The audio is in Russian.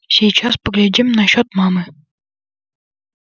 сейчас поглядим насчёт мамы